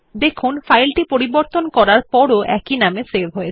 সুতরাং ফাইলটি পরিবর্তন করার পরও একই নামে সেভ হয়